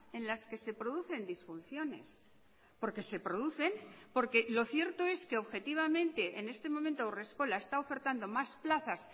en las que se producen disfunciones porque se producen porque lo cierto es que objetivamente en este momento haurreskola está ofertando más plazas